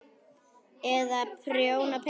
Eða prjóna peysur.